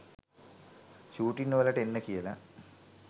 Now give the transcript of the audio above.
ෂූටින්වලට එන්න කියලා